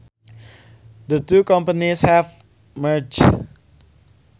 The two companies have merged